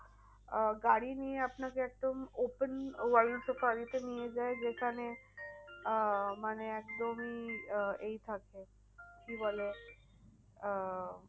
আহ গাড়ি নিয়ে আপনাকে একদম open world safari নিয়ে যায় যেখানে আহ মানে একদমই আহ এই থাকে কি বলে আহ